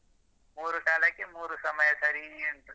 ಮೂರು ಕಾಲಕ್ಕೆ ಮೂರು ಸಮಯ ಸರೀ ಉಂಟು.